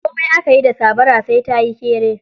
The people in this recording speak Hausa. Komai aka yi da sabara, sai ta yi kere.